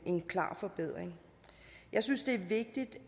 en klar forbedring jeg synes det er vigtigt